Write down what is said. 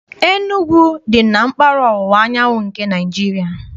Enugwu dị na mpaghara ọwụwa anyanwụ nke Naịjirịa.